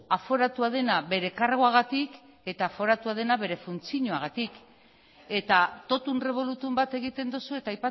aforatua dena bere karguagatik eta aforatua dena bere funtzioagatik eta tótum revolutúm bat egiten duzu eta